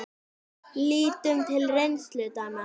Lítum til reynslu Dana.